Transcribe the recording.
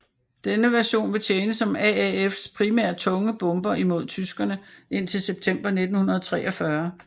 Denne version ville tjene som AAFs primære tunge bomber imod tyskerene indtil September 1943